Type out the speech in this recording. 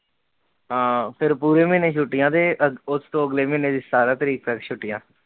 ਹਾਂ, ਫਿਰ ਪੂਰੇ ਮਹੀਨੇ ਛੁੱਟਿਆਂ ਤੇ ਉਸਤੋਂ ਅਗਲੇ ਮਹੀਨੇ ਦੀ ਸਤਾਰਾਂ ਤਾਰੀਕ ਤੱਕ ਛੁੱਟਿਆਂ